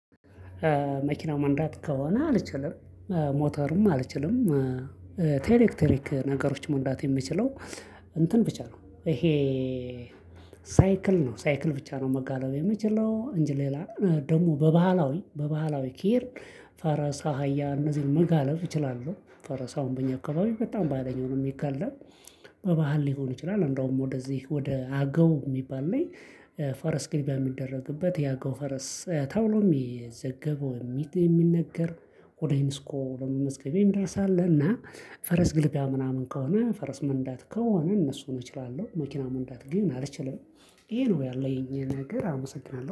መኪና መንዳት ከሆነ አልችልም። ሞተርም አልችልም። ኤሌክትሪክ ነገሮች መንዳት የሚችለው እንትን ብቻ ነው። ይሄ ሳይክል ነው ሳይክል ብቻ ነው መጋለብ የምችለው። እንጂ ሌላ ደግሞ በባህላዊ በባህላዊ ከሄድን ፈረስ አህያ እነዚህን መጋለብ እችላለሁ። ፈረስ አሁን በእኛ አካባቢ በጣም በሃይለኛው ነው የሚጋለብ። በባህል ሊሆን ይችላል አንደውም ወደዚህ ወደ አገው የሚባል ላይ። ፈረስ ግልቢያ የሚደረግበት የአገው ፈረስ ተብሎም የሚዘገበው የሚትል የሚነገር። ወደ ኢንስኮ ለመመዝገብ የሚደርስ አለ። እና ፈረስ ግልቢያ ምናምን ከሆነ ፈረስ መንዳት ከሆነ እነሱን እችላለሁ። መኪና መንዳት ግን አልችልም። ይሄ ነው ያለኝ ነገር አመሰግናለሁ